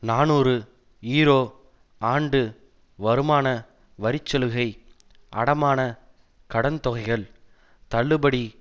நாநூறு யூரோ ஆண்டு வருமான வரிச்சலுகை அடமான கடன் தொகைகள் தள்ளுபடி